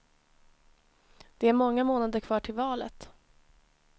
Det är många månader kvar till valet.